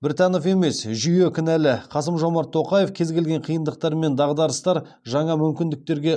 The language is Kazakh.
біртанов емес жүйе кінәлі қасым жомарт тоқаев кез келген қиындықтар мен дағдарыстар жаңа мүмкіндіктерге